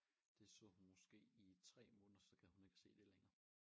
Det så hun måske i 3 måneder så gad hun ikke at se det længere